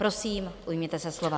Prosím, ujměte se slova.